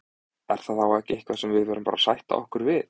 Er það þá ekki eitthvað sem við verðum bara að sætta okkur við?